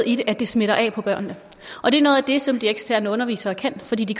i det at det smitter af på børnene og det er noget af det som de eksterne undervisere kan fordi de